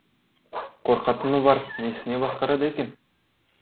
қорқатыны бар несіне басқарады екен